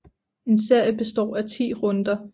En serie består af 10 runder